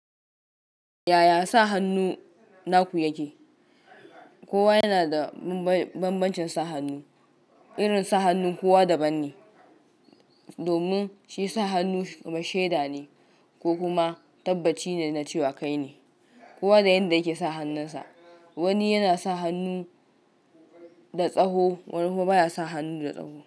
Yaya sa hannu naku yake? Kowa yana da bambancin sa hannu, irin sa hannun kowa daban ne. Domin shi sa hannu kuma shaida ne ko kuma tabbaci na cewa kai ne. Kowa da yanda yake sa hannunsa, wani yana sa hannu da tsaho, wani kuma baya sa hannun da tsaho.